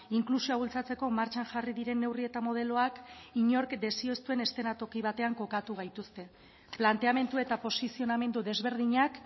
inklusioa bultzatzeko martxan jarri diren neurri eta modeloak inork desio ez duen eszenatoki batean kokatu gaituzte planteamendu eta posizionamendu desberdinak